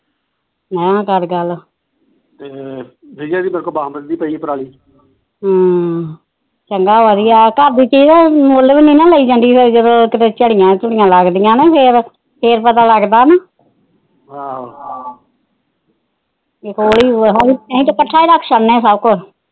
ਚੰਗਾ ਵਧੀਆਂ ਘਰ ਦੀ ਠੀਕ ਮੁਲ ਵੀ ਨਾ ਲਈ ਜਾਂਦੀ ਫਿਰ ਕਿਤੇ ਝੜੀਆਂ ਝੂੜੀਆਂ ਲੱਗਦੀਆਂ ਫਿਰ ਪਤਾ ਲੱਗਤਾ ਆਹੋ ਅਸੀ ਤਾ ਕੱਠਾ ਰੱਖ ਛੱਡਦੇ ਸੱਭ ਕੁਛ